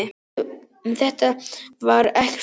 En þetta var ekki svona.